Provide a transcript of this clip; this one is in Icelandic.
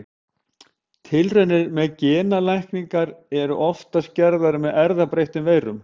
Tilraunir með genalækningar eru oftast gerðar með erfðabreyttum veirum.